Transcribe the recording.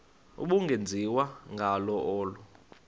ubungenziwa ngalo olu